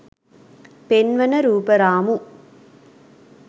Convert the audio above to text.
පෙන්වන රූප රාමු